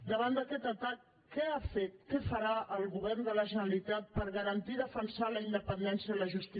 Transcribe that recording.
davant d’aquest atac què ha fet què farà el govern de la generalitat per garantir i defensar la independència de la justícia catalana